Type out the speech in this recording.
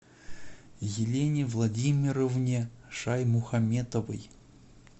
елене владимировне шаймухаметовой